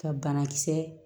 Ka banakisɛ